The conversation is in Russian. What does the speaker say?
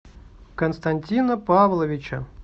константина павловича